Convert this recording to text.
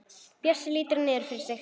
Bjössi lítur niður fyrir sig.